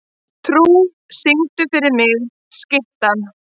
Trú, syngdu fyrir mig „Skyttan“.